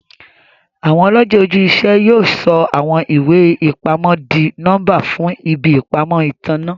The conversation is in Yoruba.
Awọn ọlọjẹ oju-iṣẹ yóò sọ awọn iwe-ipamọ dì nọmba fún ìbí ìpamọ́ ìtanná.